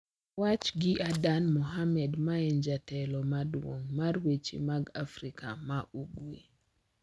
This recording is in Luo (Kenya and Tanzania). Owach gi Adan Mohamed ma en jatelo maduong` mar weche mag Afrika ma Ugwe.